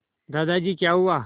दादाजी क्या हुआ